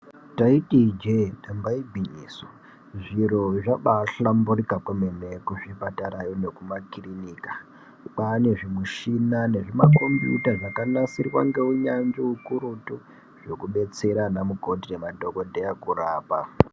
Taiti ijee yamba igwinyiso , zviro zvabahlamburika kwemene kuzvipatara yoo nekumakirinika. Kwane zvimushina nezvimakombuyuta zvakanasirwa ngeunyanzvi ukurutu zvekubetsera ana mukoti nemadhokodheya kurapa.